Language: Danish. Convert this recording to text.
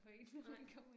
Nej